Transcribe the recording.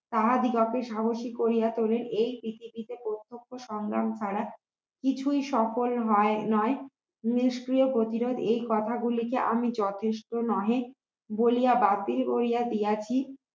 তাহাদিগকে সাহসী করিয়া তোলেন এই পৃথিবীতে প্রত্যক্ষ সংগ্রাম ছাড়া কিছুই সফল হয় নায় নিষ্ক্রিয় প্রতিরোধ এই কথাগুলিকে আমি যথেষ্ট নহে বলিয়া বাতিল হইয়া দিয়াছি